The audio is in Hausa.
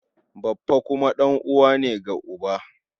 Baffa kuma ɗan'uwa ne ga uba.